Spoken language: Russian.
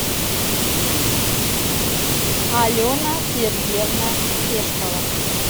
алена сергеевна пешкова